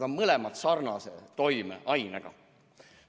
Need mõlemad on ju sarnase toimeainega.